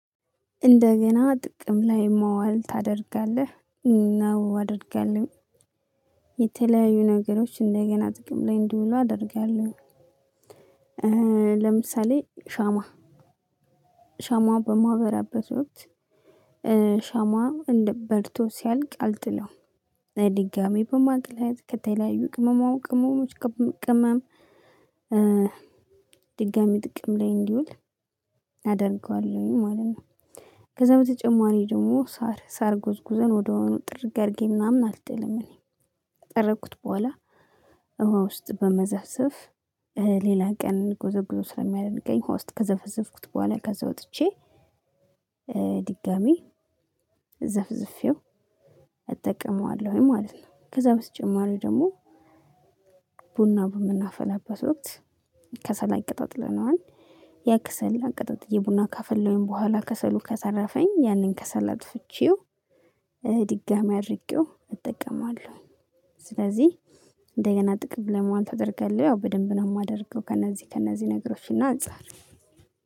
እንደገና ጥቅም ላይ መዋል ታደርጋለህ። ነው አደርጋለሁ የተለያዩ ነገሮች እንደገና ጥቅም ላይ እንዲውሉ አደርጋለሁ። ለምሳሌ ሻማ ሻማ በማበራበት ወቅት ሻማ እንደ በርቶ ሲያልቅ አልጥለው ድጋሚ በማቅለጥ ከተለያዩ ቅመማ ቅመሞች ቅመም ድጋሚ ጥቅም ላይ እንዲውል አደርገዋለሁኝ ማለት ነው። ከዛ በተጨማሪ ደግሞ ሳር ሳር ጎዝጉዘን ወደያዉኑ ጥርግ አድርጌ ምናምን አልጥልም እኔ ከጠረኩት በኋላ ውሃ ውስጥ በመዘፍዘፍ ሌላ ቀን ጉዞ ጉዞ ስለሚያደርገኝ ውሃ ውስጥ ከዘፈዘፍኩት በኋላ ከዛ ወጥቼ ድጋሚ ዘፍዝፌው እጠቀመዋለሁኝ ማለት ነው። ከዛ በተጨማሪ ደግሞ ቡና በምናፈላበት ወቅት ከሰል አቀጣጥለነዋል። ያ ከሰልን አቀጣጥዬ ቡና ካፈለውኝ በኋላ ከሰሉ ከተረፈኝ ያንን ከሰል አጥፍቼው ድጋሚ አድርጌው እጠቀማለሁ። ስለዚህ እንደገና ጥቅም ለመዋል ታደርገህ? ያው በደንብ ነው የማደርገው ከእነዚህ ከእነዚህ ነገሮችን አንፃር።